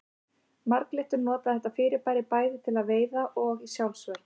Marglyttur nota þetta fyrirbæri bæði til veiða og í sjálfsvörn.